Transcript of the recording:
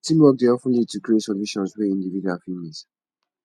teamwork dey of ten lead to creative solutions wey individuals fit miss